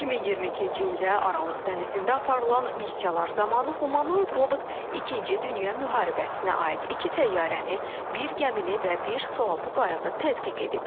2022-ci ildə Aralıq dənizində aparılan missiyalar zamanı humanoid robot ikinci dünya müharibəsinə aid iki təyyarəni, bir gəmini və bir sualtı qayığı tədqiq edib.